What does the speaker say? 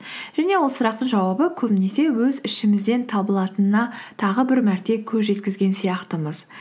және ол сұрақтың жауабы көбінесе өз ішімізден табылатынына тағы бір мәрте көз жеткізген сияқтымыз